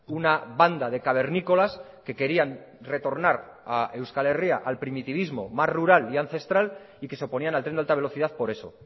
una banda de cavernícolas que querían retornar a euskal herria al primitivismo más rural y ancestral y que se oponían al tren de alta velocidad por eso